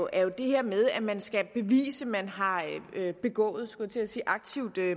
er jo det her med at man skal bevise at man har begået skulle jeg til at sige aktivt